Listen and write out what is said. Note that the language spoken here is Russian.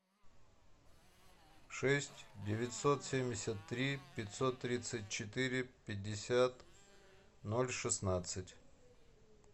шесть девятьсот семьдесят три пятьсот тридцать четыре пятьдесят ноль шестнадцать